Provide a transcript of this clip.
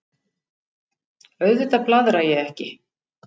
Auðvitað blaðra ég ekki.